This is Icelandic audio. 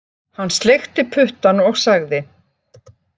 Hann sleikti puttann og sagði